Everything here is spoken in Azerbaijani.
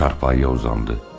Çarpayıya uzandı.